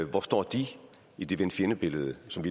hvor står de i det venne fjendebillede som